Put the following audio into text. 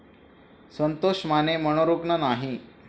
संतोष माने मनोरुग्ण नाही